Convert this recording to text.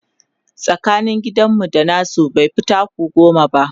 tsakanin gidan mu da nasu baifi taku goma ba